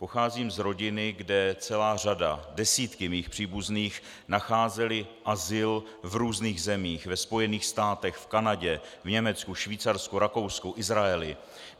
Pocházím z rodiny, kde celá řada, desítky mých příbuzných nacházeli azyl v různých zemích - ve Spojených státech, v Kanadě, v Německu, Švýcarsku, Rakousku, Izraeli.